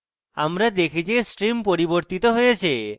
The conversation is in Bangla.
আমরা দেখি যে stream পরিবর্তিত হয়েছে